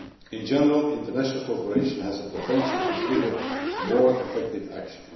In general, international cooperation has the potential to trigger more effective action.